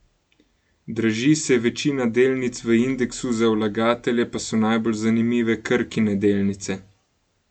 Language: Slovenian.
Draži se večina delnic v indeksu, za vlagatelje pa so najbolj zanimive Krkine delnice.